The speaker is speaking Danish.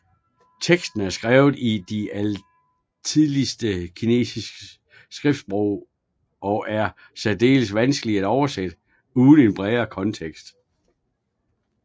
Teksten er skrevet i det allertidligste kinesiske skriftsprog og er særdeles vanskeligt at oversætte uden en bredere kontekst